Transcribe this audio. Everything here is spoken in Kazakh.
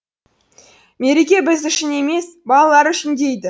мереке біз үшін емес балалар үшін дейді